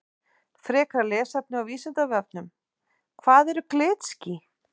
Frekara lesefni á Vísindavefnum Hvað eru glitský?